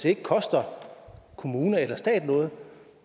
ikke koster kommune eller stat noget